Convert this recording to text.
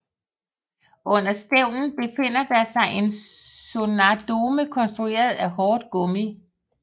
Under stævnen befinder der sig en sonardome konstrueret af hårdt gummi